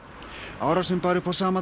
árásina bar upp á sama